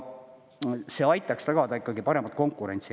See aitaks tagada paremat konkurentsi.